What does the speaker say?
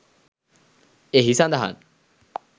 එහි සඳහන්.